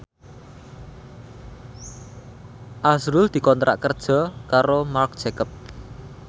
azrul dikontrak kerja karo Marc Jacob